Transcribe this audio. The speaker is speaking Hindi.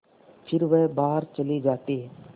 फिर वह बाहर चले जाते